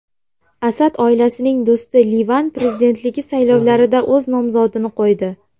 Asad oilasining do‘sti Livan prezidentligi saylovlarida o‘z nomzodini qo‘ydi.